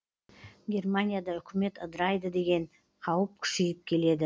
германияда үкімет ыдырайды деген қауіп күшейіп келеді